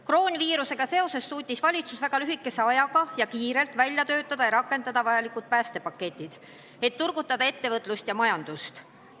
Koroonaviirusega seoses suutis valitsus väga lühikese ajaga välja töötada ja rakendada vajalikud päästepaketid, et turgutada ettevõtlust ja majandust.